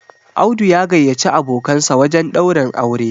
Audu ya gayyaci abokansa wajen daurin aure